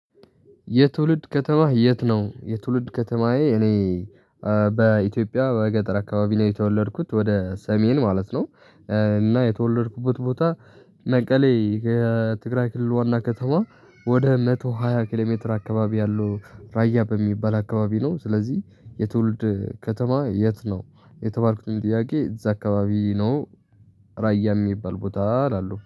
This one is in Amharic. የትውልድ ከተማህ የት ነው? የትውልድ ከተማዬ እኔ በኢትዮጵያ በገጠር አካባቢ ነው የተወለድኩት ወደ ሰሜን ማለት ነው። እና የተወለድኩበት ቦታ መቀሌ ከትግራይ ክልል ዋና ከተማ ወደ መቶሀያ ኪሎ ሜትር አካባቢ ያለው ራያ በሚባል አካባቢ ነው። ስለዚህ የትውልድ ከተማ የት ነው? የተባልኩትን ጥያቄ እዛ አካባቢ ነው። ራያ የሚባል ቦታ እላለው